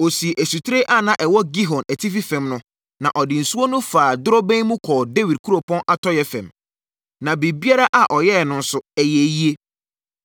Ɔsii asutire a na ɛwɔ Gihon atifi fam no, na ɔde nsuo no faa dorobɛn mu kɔɔ Dawid kuropɔn atɔeɛ fam. Na biribiara a ɔyɛeɛ no nso, ɛyɛɛ yie.